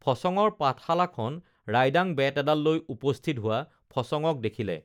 ফচঙৰ পাঠশালাখন ৰাইডাং বেত এডাল লৈ উপস্থিত হোৱা ফচঙক দেখিলে